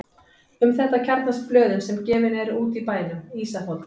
Um þetta kjarnast blöðin sem gefin eru út í bænum: Ísafold